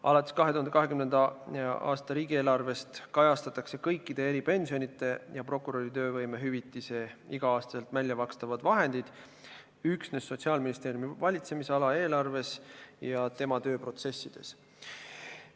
Alates 2020. aasta riigieelarvest kajastatakse kõikide eripensionide ja prokuröri töövõimehüvitise igal aastal väljamakstavad vahendid üksnes Sotsiaalministeeriumi valitsemisala eelarves ja tema tööprotsessides.